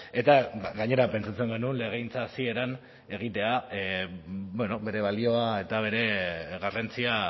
eta gainera pentsatzen genuen legegintza hasieran egiteak bere balioa eta bere garrantzia